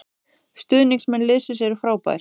Stuðningsmenn liðsins eru frábær